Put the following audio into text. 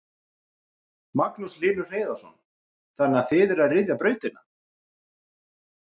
Magnús Hlynur Hreiðarsson: Þannig að þið eruð að ryðja brautina?